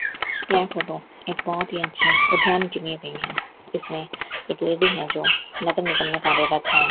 यह फोटो एक बहुत ही अच्छी अध्यान के ली गई है इसमें एक लेडी हैं जो नगर निगम में कार्यरत हैं।